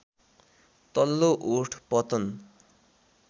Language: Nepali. तल्लो ओठ पतन